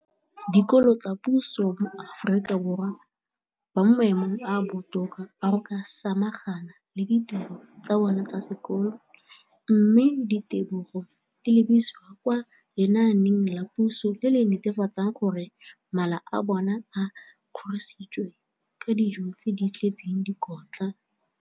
Dikolo tsa puso mo Aforika Borwa ba mo maemong a a botoka a go ka samagana le ditiro tsa bona tsa sekolo, mme ditebogo di lebisiwa kwa lenaaneng la puso le le netefatsang gore mala a bona a kgorisitswe ka dijo tse di tletseng dikotla.